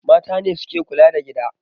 Mata ne suke kula da gida